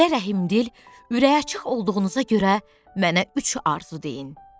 Belə rəhimdil, ürəyi açıq olduğunuza görə mənə üç arzu deyin.